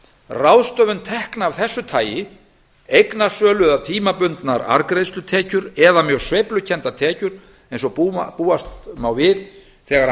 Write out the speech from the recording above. ráðstöfun tekna af þessu tagi eignasölu eða tímabundnar arðgreiðslutekjur eða mjög sveiflukenndar tekjur eins og búast má við þegar